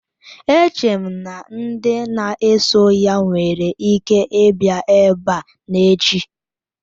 Eche m na ndị na-eso ya nwere ike ịbịa ebe a n'echi